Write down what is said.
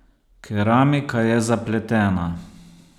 Keramika je zapletena.